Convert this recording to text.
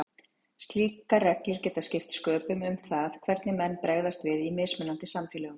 Slíkar reglur geta skipt sköpum um það hvernig menn bregðast við í mismunandi samfélögum.